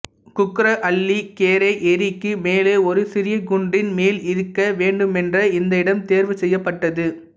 குக்கரஹள்ளி கெரே ஏரி க்கு மேலே ஒரு சிறிய குன்றின் மேல் இருக்க வேண்டுமென்றே இந்த இடம் தேர்வு செய்யப்பட்டது